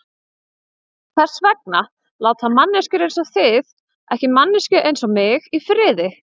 Hvers vegna láta manneskjur einsog þið ekki manneskju einsog mig í friði?